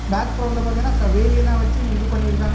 Back கிரௌண்ட்ல பாத்தீங்கன்னா வேலியெல்லாம் வைச்சி இது பண்ணிருக்காங்க.